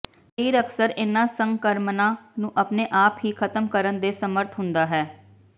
ਸਰੀਰ ਅਕਸਰ ਇਨ੍ਹਾਂ ਸੰਕਰਮਨਾਂ ਨੂੰ ਆਪਣੇ ਆਪ ਹੀ ਖਤਮ ਕਰਨ ਦੇ ਸਮਰੱਥ ਹੁੰਦਾ ਹੈ